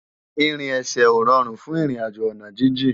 Irin èsè ó ròrún fún irin àjó àná jijin